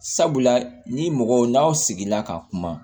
Sabula ni mɔgɔw n'aw sigila ka kuma